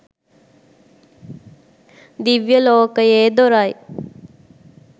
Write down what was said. දිව්‍යලෝකයේ දොර යි